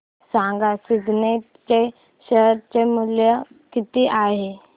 सांगा सिग्नेट चे शेअर चे मूल्य किती आहे